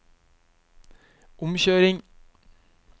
omkjøring